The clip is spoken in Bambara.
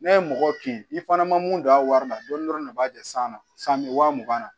N'a ye mɔgɔ kin i fana ma mun don a wari la dɔɔnin dɔrɔn de b'a ja san na san bɛ waa mugan na